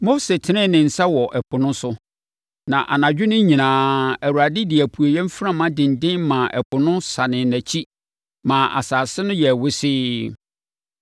Mose tenee ne nsa wɔ ɛpo no so, na anadwo no nyinaa Awurade de apueeɛ mframa denden maa ɛpo no sanee nʼakyiri ma asase no yɛɛ wesee.